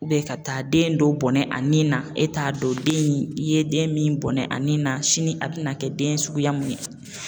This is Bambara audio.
ka taa den dɔ bɔnɛ a nin na e t'a dɔn den i ye den min bɔnɛ a nin na sini a bɛna kɛ den suguya mun ye.